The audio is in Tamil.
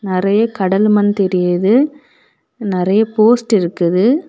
நெறைய கடல் மண் தெரியுது நெறைய போஸ்ட் இருக்குது.